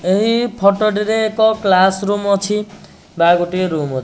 ଏହି ଫୋଟୋ ଟି ରେ ଏକ କ୍ଲାସ ରୁମ୍ ଅଛି ବା ଗୋଟେ ରୋମ ଅଛି।